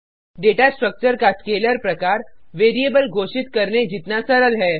data structure का scalar प्रकार variable को घोषित करने के लिए सरल है